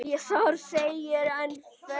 Þar segir enn fremur